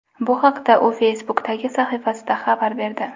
Bu haqda u Facebook’dagi sahifasida xabar berdi .